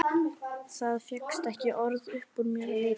Það fékkst ekki orð upp úr mér af viti.